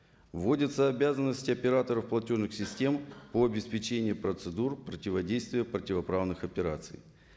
вводятся обязанности операторов платежных систем по обеспечению процедур противодействия противоправных операций